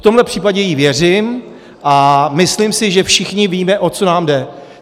V tomhle případě jí věřím a myslím si, že všichni víme, o co nám jde.